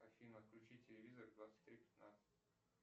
афина включи телевизор в двадцать три пятнадцать